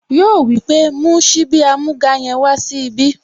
Yíò wípé, "mú síbí amúga yẹn wá sí ibí"